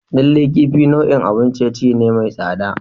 Lallai kifi nau'in abun ciye-ciye ne mai tsada.